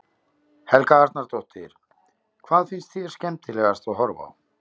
Helga Arnardóttir: Hvað finnst þér skemmtilegast að horfa á?